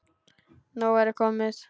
Nóg væri komið.